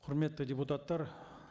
құрметті депутаттар